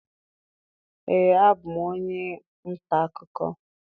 Ee, abụ m onye nta akụkọ.